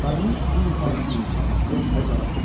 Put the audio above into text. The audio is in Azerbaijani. Qadının üzünün ifadəsi yumşaldı və cavab verdi.